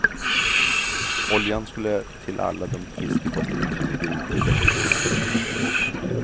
Oljan skulle till alla de fiskefartyg som ligger ute i veckor i sträck och fiskar.